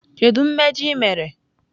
Kedu mmejọ ị mere?